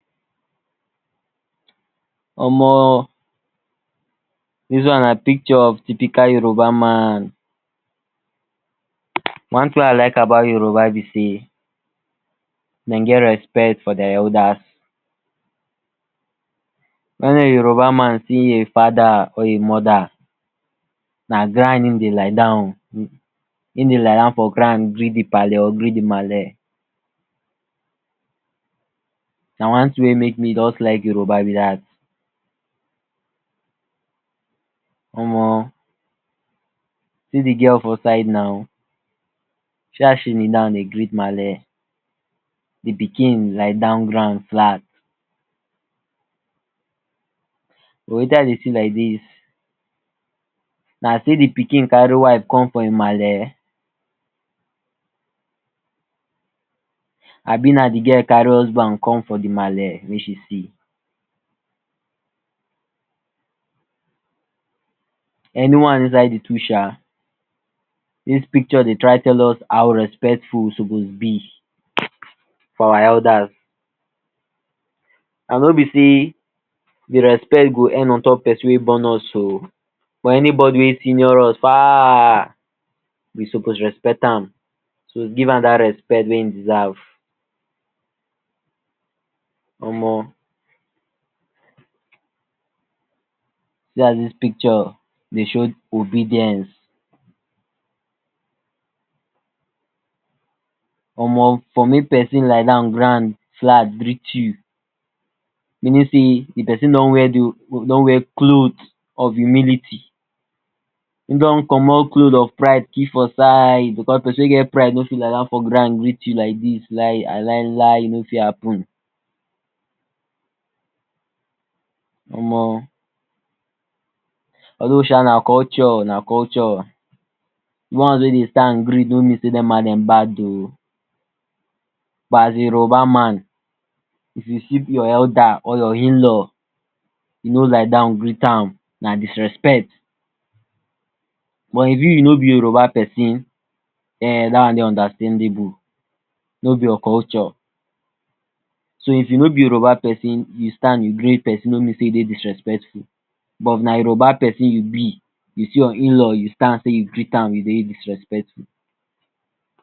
Omo dis one na picture of typical Yoruba man, one tin wey I like about Yoruba be sey dem get respect for dia elders. Wen a Yoruba man see a fada or a mother na ground him dey lie down o, him dey lie down for ground greet di palee or greet di malee, na one tin wey make me just like Yoruba be dat. Omo see di girl for side now, see as she kneel down dey greet malee, di pikin lie down ground flat. For watin I dey see like dis na sey di pikin carry wife come for him malee abi na di girl carry husband come for him malee make she see. Any one inside di two um, dis picture dey try tell us how respectful we suppose be for our elders and no be sey di respect go end on top pesin wey born us o, for any body wey senior us far we suppose respect am, so give am dat respect wey him deserve. Omo see as dis picture dey show obedience, omo for make pesin lie down ground flat greet you meaning sey di pesin don wear cloth of humility, him don commot cloth of pride keep for side because pesin wey get pride no fit lie down for ground greet you like dis, lai lailai e no fit happen. Omo although um na culture na culture di ones wey dey stand greet no mean sey dem ma dem bad o but as Yoruba man if you see your elder or your inlaw you no lie down greet am na disrespect but if you you no be Yoruba pesin[um]dat one dey understandable, no be your culture so if you no be Yoruba pesin yu stand you greet pesin no mean sey you sey disrespectful but if na Yoruba pesin you be, you see your inlaw you stand sey you great am you dey disrespectful.